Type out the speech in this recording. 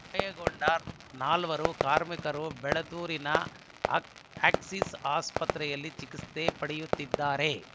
ಗಾಯಗೊಂಡ ನಾಲ್ವರು ಕಾರ್ಮಿಕರು ಬೆಳತೂರಿನ ಆಕ್ಸಿಸ್‌ ಆಸ್ಪತ್ರೆಯಲ್ಲಿ ಚಿಕಿತ್ಸೆ ಪಡೆಯುತ್ತಿದ್ದಾರೆ